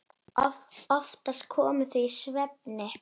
Oftast komu þau í svefni.